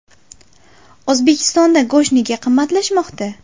O‘zbekistonda go‘sht nega qimmatlashmoqda?.